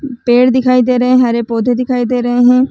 पेड़ दिखाई दे रहे है हरे पौधे दिखाई दे रहे है।